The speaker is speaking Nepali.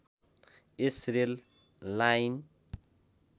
yes rail line